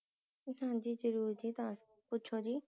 ਹਾਂਜੀ ਜਰੂਰ ਜੀ ਦੱਸ~ ਪੁਛੋ ਜੀ